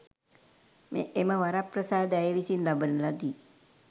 එම වරප්‍රසාද ඇය විසින් ලබන ලදී.